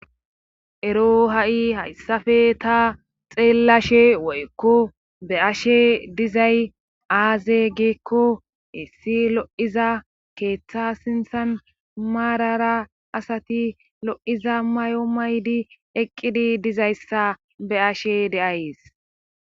Ero ha'i hayssafe ta xeellashe woykko be ashe dizay aaze geekko issi lo7iza keeththa sinthan maarara asati lo7iza may7o maydi eqqidi dizayssa be ashe deays.